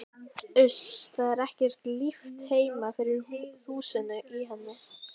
Uss, það er ekki líft heima fyrir þusinu í henni.